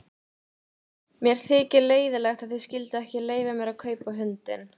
Mér þykir leiðinlegt að þið skylduð ekki leyfa mér að kaupa hundinn.